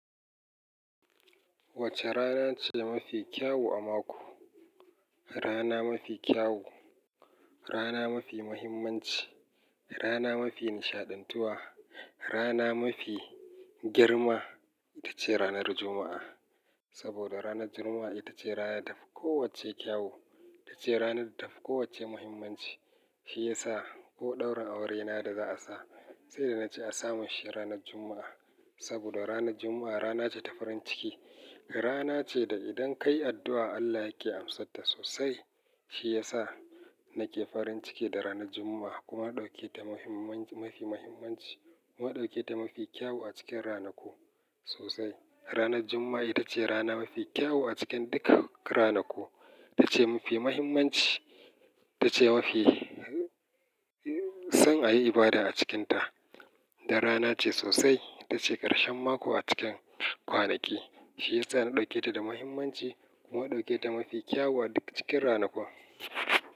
Wace rana ce mafi kyau a mako? Rana mafi kyau, rana mafi muhimmanci, rana mafi nishaɗantuwa, rana mafi girma ita ce ranar Juma'a. Saboda ranar Juma'a ita ce rana da ta fi kowacce kyau, ita ce rana da ta fi kowacce muhimmanci. Shi ya sa ko ɗaurin aurena da za a sa, sai da na ce a samun shi ranar Juma'a. Saboda ranar Juma'a rana ce ta farin ciki, rana ce da idan ka yi addu'a Allah yake amsarta sosai. Shi ya sa na ke farin ciki da ranar Juma'a kuma na ɗauke ta mafi muhimmanci kuma na ɗauke ta mafi kyau a cikin ranaku sosai. Ranar Juma'a ita ce rana mafi kyau a cikin duka ranaku. Ita ce mafi muhimmanci, ita ce mafi son a yi ibada a cikinta. Da rana ce sosai, ita ce ƙarshen mako a cikin kwanaki. Shi ya sa na ɗauke ta da muhimmanci kuma na ɗauke ta mafi kyau a duk cikin ranakun.